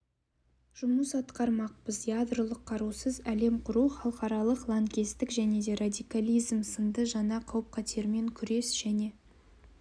жұмыс атқармақпыз ядролық қарусыз әлем құру халықаралық лаңкестік және радикализм сынды жаңа қауіп-қатермен күрес және